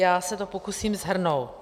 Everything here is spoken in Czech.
Já se to pokusím shrnout.